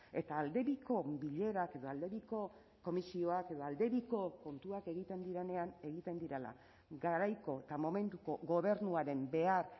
eta aldebiko bilerak edo aldebiko komisioak edo aldebiko kontuak egiten direnean egiten direla garaiko eta momentuko gobernuaren behar